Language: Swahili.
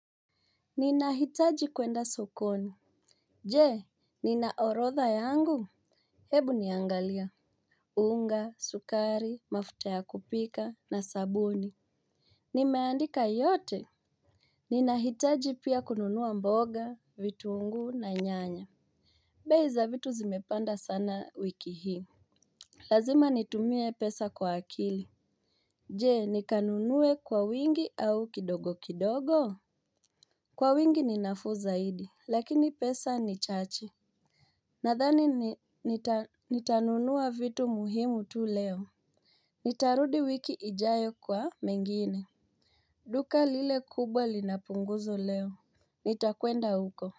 Ninahitaji kwenda sokoni. Jee, nina orotha yangu? Hebu niangalia unga, sukari, mafuta ya kupika na sabuni. Nimeandika yote? Ninahitaji pia kununua mboga, vitunguu na nyanya. Bei za vitu zimepanda sana wiki hii. Lazima nitumie pesa kwa akili. Jee, nikanunue kwa wingi au kidogo kidogo? Kwa wingi ni nafuu zaidi, lakini pesa ni chache. Nathani nitanunua vitu muhimu tu leo. Nitarudi wiki ijayo kwa mengine. Duka lile kubwa lina punguzo leo. Nitakwenda huko.